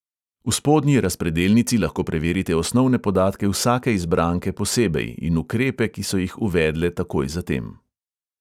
V spodnji razpredelnici lahko preverite osnovne podatke vsake izbranke posebej in ukrepe, ki so jih uvedle takoj zatem.